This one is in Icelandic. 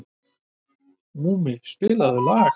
Múli, spilaðu lag.